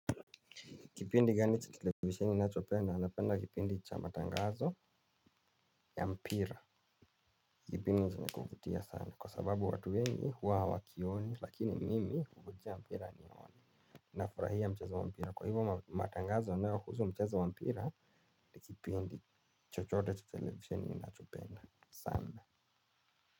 Kipindi gani cha televisheni unachopenda? Napenda kipindi cha matangazo ya mpira. Kipindi cha kuvutia sana. Kwa sababu watu wengi huwa hawakioni lakini mimi kukutia mpira aniona. Nafurahia mchezo wa mpira kwa hivyo matangazo yanayohusu mchezo wa mpira ni kipindi chochote cha televisheni ninachopenda sana.